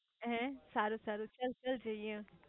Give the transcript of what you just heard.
હે સારું સારું ચલ ચલ જઇયે